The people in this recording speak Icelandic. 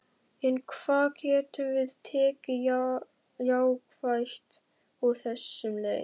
En hvað getum við tekið jákvætt úr þessum leik?